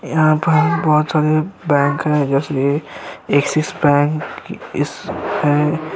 यहाँ पर बोहोत सारे बैंक है ऐक्सिस बैंक ईस एँ --